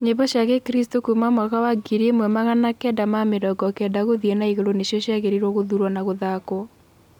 nyĩmbo cĩa gĩkristu kũũma mwaka wa ngiri ĩmwe magana kenda ma mĩrongo kenda guthii na iguru nicio ciagiriirwo guthurwo na guthakwo